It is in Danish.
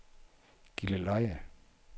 Gilleleje